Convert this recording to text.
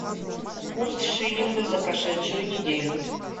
курс шиллинга за прошедшую неделю